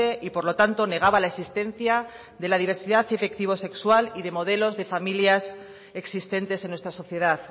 y por lo tanto negaba la existencia de la diversidad afectivo sexual y de modelos de familias existentes en nuestra sociedad